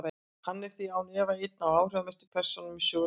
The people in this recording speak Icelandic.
Hann er því án efa ein af áhrifamestu persónum í sögu landsins.